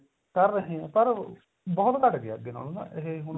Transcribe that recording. ਕਰ ਰਹੇ ਆ ਪਰ ਉਹ ਬਹੁਤ ਘੱਟ ਗਿਆ ਨਾ ਅੱਗੇ ਨਾਲੋ ਨਾ ਇਹ ਹੁਣ